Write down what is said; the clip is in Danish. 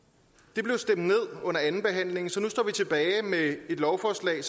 det blev stemt ned under andenbehandlingen så nu står vi tilbage med et lovforslag